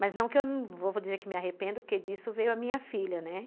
Mas não que eu vou dizer que me arrependo, porque disso veio a minha filha, né?